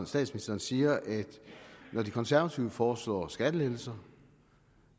statsministeren siger at når de konservative foreslår skattelettelser